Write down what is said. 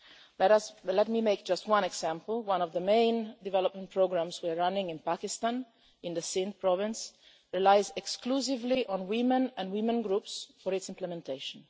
Let me give just one example one of the main development programmes we are running in Pakistan, in the Sindh province, relies exclusively on women and women groups for its implementation.